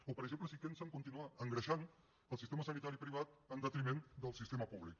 o per exemple si pensen continuar engreixant el sistema sanitari privat en detriment del sistema públic